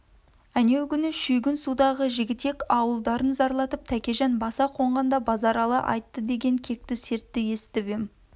әнеугүні шүйгін судағы жігітек ауылдарын зарлатып тәкежан баса қонғанда базаралы айтты деген кекті сертті есітіп ем